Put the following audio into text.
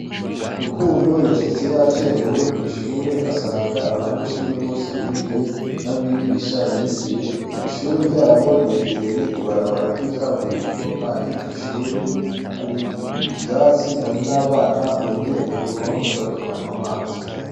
Rukundo Yashitse yacerewe kw’ishure asanga abanyeshure bose binjiye , n’abigisha binjiye, ishure ryabo ryegereye ibarabara ry’ikaburimbo kandi mw’ishure hari ivyatsi hari n’abana begereye kuruhome bariko banw’amazi.